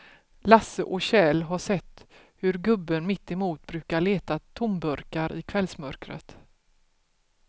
Lasse och Kjell har sett hur gubben mittemot brukar leta tomburkar i kvällsmörkret.